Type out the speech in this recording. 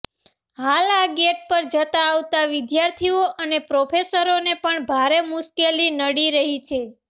હાલ આ ગેટ પર જતાં આવતાં વિદ્યાર્થીઓ અને પ્રોફેસરોને પણ ભારે મુશ્કેલી નડી રહી છે